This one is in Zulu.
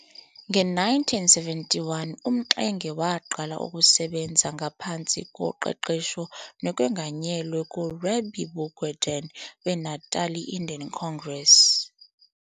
Nge-1971 uMxenge waqala ukusebenza ngaphansi koqeqesho nokwenganyelwa nguRabie Bugwandeen weNatali Indian Congress.